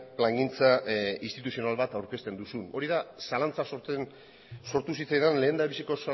plangintza instituzional bat aurkezten duzun hori da zalantza sortu zitzaidan lehenendabiziko